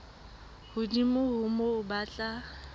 hodimo ho moo ba tla